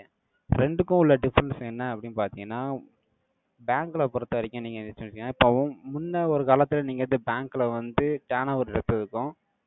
~ய. ரெண்டுக்கும் உள்ள difference என்ன? அப்படின்னு பார்த்தீங்கன்னா Bank ல பொறுத்தவரைக்கும், நீங்க இப்பவும், முன்ன ஒரு காலத்துல, நீங்க இந்த bank ல வந்து, turn over rip இருக்கும்.